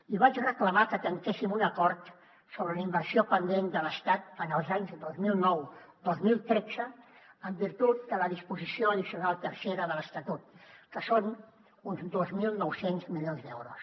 i vaig reclamar que tanquéssim un acord sobre la inversió pendent de l’estat en els anys dos mil nou dos mil tretze en virtut de la disposició addicional tercera de l’estatut que són uns dos mil nou cents milions d’euros